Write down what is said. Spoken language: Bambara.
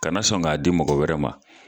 Kana na sɔn k'a di mɔgɔ wɛrɛ ma